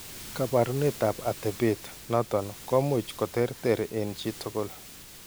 Kaabarunetap atepet noton komuch koterter eng' chi tugul.